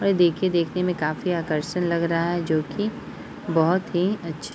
देखिए देखने में काफी आकर्षण लग रहा है जो की बहुत हीअछ--